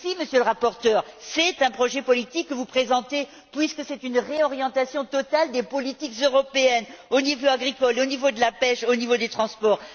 Mais si, Monsieur le rapporteur, c'est un projet politique que vous présentez, puisque c'est une réorientation totale des politiques européennes, au niveau agricole, au niveau de la pêche, au niveau des transports.